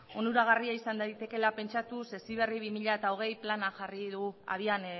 onuragarria izan daitekeela pentsatuz heziberri bi mila hogei plana jarri du habian